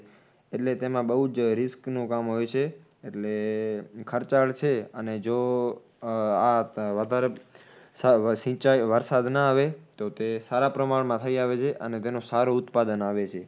એટલે તેમાં બૌજ risk નું કામ હોય છે. એટલે ખર્ચાળ છે અને જો આ વધારે સા સિંચાઇ વરસાદ ના આવે તો તે સારા પ્રમાણમાં થઈ આવે છે અને તેનું સારું ઉત્પાદન આવે છે